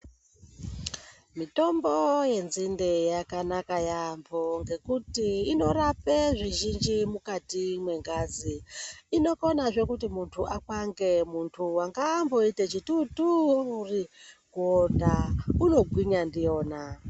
Mitombo yenzinde yakanaka yaambo nekuti inorapa zvizhinji mukati mwengazi inokonazve kuti mundu akwange muntu anga amboite chitotori kuonda unogwinya ndiyona.